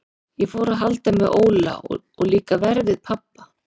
Ég fór að halda með Óla og líka verr við pabba.